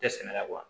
Tɛ sɛnɛ yan